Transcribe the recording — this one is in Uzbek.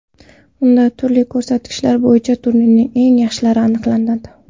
Unda turli ko‘rsatkichlar bo‘yicha turning eng yaxshilari aniqlandi .